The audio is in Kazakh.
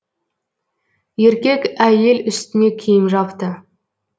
еркек әйел үстіне киім жапты